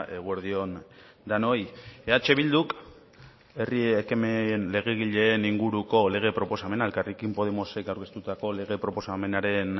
eguerdi on denoi eh bilduk herri ekimen legegileen inguruko lege proposamena elkarrekin podemosek aurkeztutako lege proposamenaren